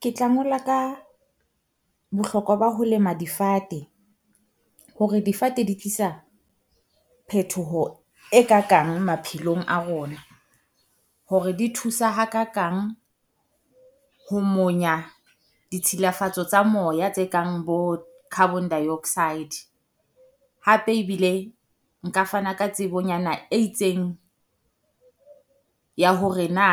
Ke tla ngola ka bohlokwa ba ho lema difate, hore difate di tlisa phetoho e kakang maphelong a rona. Hore di thusa ha kakang ho monya ditshilafatso tsa moya tse kang bo carbon dioxide. Hape ebile nka fana ka tsebonyana e itseng ya hore na